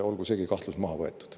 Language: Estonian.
Olgu seegi kahtlus maha võetud.